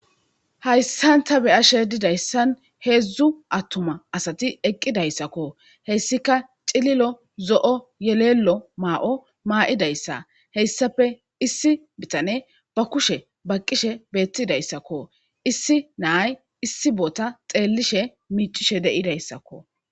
Haysan ta be'ashe dizaysay hedhdhu atumata Asati eqida hesika Cililo zo'o Yelelo ma'o Ma'idaysa Haysape issi butaney Ba kushen baqishe betizaysako issi na'ay issi bota xellidi miccishe de'izaysako